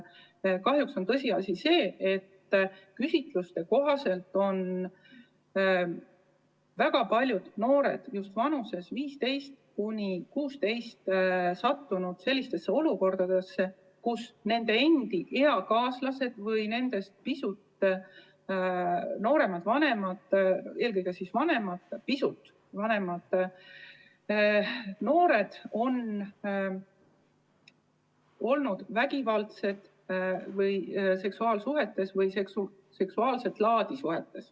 Kahjuks on tõsiasi see, et küsitluste kohaselt on väga paljud noored just vanuses 15–16 sattunud sellistesse olukordadesse, kus nende enda eakaaslased või nendest pisut nooremad või vanemad, eelkõige pisut vanemad noored on vägivaldset seksuaalsuhet või seksuaalset laadi suhet.